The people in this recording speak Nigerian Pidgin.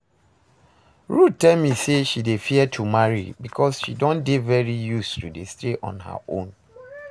Ruth tell me say she dey fear to marry because she don dey very used to staying on her own